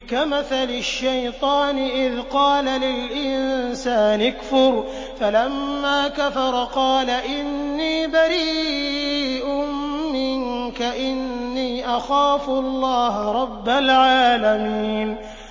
كَمَثَلِ الشَّيْطَانِ إِذْ قَالَ لِلْإِنسَانِ اكْفُرْ فَلَمَّا كَفَرَ قَالَ إِنِّي بَرِيءٌ مِّنكَ إِنِّي أَخَافُ اللَّهَ رَبَّ الْعَالَمِينَ